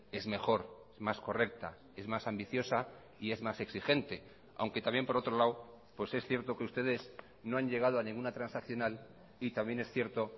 es mejor más correcta es más ambiciosa y es más exigente aunque también por otro lado pues es cierto que ustedes no han llegado a ninguna transaccional y también es cierto